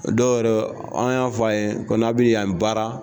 Dɔw yɔrɔ an y'a fɔ a ye ko n'a bɛ yan baara